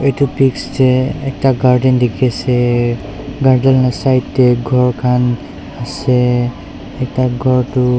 etu pische ekta garden dikhi se garden laga side teh ghor khan ase ekta ghor tu--